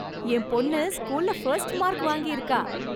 என் பொண்ணு ஸ்கூல்ல first mark வாங்கி இருக்கா.